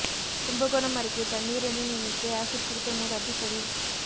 கும்பகோணம் அருகே தண்ணீர் என நினைத்து ஆசிட் குடித்த மூதாட்டி பலி